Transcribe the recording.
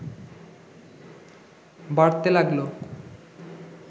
বাড়তে লাগল